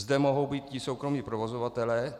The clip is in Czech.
Zde mohou být i soukromí provozovatelé.